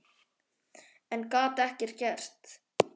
En gat ekkert gert.